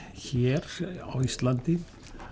hér á Íslandi